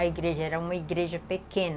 A igreja era uma igreja pequena.